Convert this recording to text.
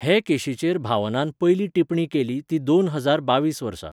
हे केशीचेर भावनान पयली टिपणी केली ती दोन हजार बावीस वर्सा.